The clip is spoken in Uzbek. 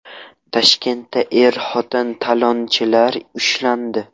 Toshkentda er-xotin talonchilar ushlandi.